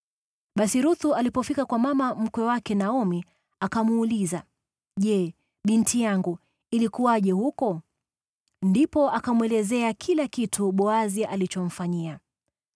Basi Ruthu alipofika kwa mama mkwe wake Naomi, akamuuliza, “Je, binti yangu, ilikuwaje huko?” Ndipo akamwelezea kila kitu Boazi alichomfanyia.